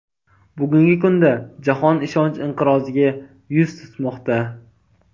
Bugungi kunda jahon ishonch inqiroziga yuz tutmoqda.